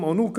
en aucun